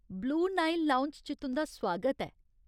Blue Nile lounge च तुं'दा सुआगत ऐ।